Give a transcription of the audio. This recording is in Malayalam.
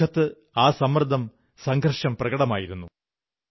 അവരുടെ മുഖത്ത് ആ സമ്മർദ്ദം സംഘർഷം പ്രകടമായിരുന്നു